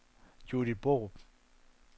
Judith Borup